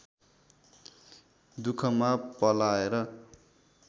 दुखमा पलाएर